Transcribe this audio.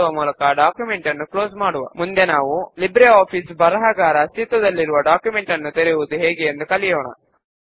form design window లో రెండు tabular data sheet ఏరియాలు వచ్చాయని గమనించండి